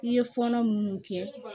I ye fɔɔnɔ munnu kɛ